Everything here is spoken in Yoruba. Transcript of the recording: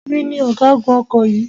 Èmi ni ọ̀gágun ọkọ̀ yìí.